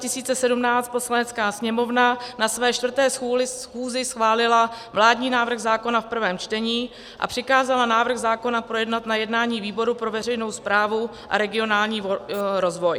Poslanecká sněmovna na své 4. schůzi schválila vládní návrh zákona v prvém čtení a přikázala návrh zákona projednat na jednání výboru pro veřejnou správu a regionální rozvoj.